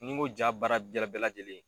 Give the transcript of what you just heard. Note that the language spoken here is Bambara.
Ni n ko ja baara bɛɛ la bɛɛ lajɛlen